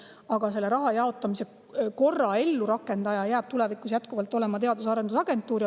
Aga selle raha jaotamise korra rakendajaks jääb ka tulevikus jätkuvalt teadusagentuur.